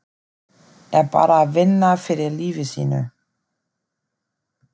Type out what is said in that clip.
Er bara að vinna fyrir lífi sínu.